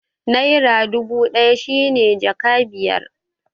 Naira dubu ɗaya shi ne jaka biyar